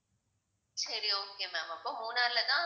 சரி okay ma'am அப்போ மூணார்லதான்